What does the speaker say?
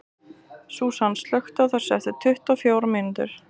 Súsan, slökktu á þessu eftir tuttugu og fjórar mínútur.